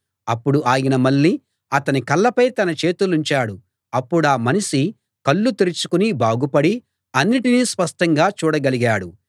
అప్పుడు ఆయన మళ్ళీ అతని కళ్ళపై తన చేతులుంచాడు అప్పుడా మనిషి కళ్ళు తెరుచుకుని బాగుపడి అన్నిటినీ స్పష్టంగా చూడగలిగాడు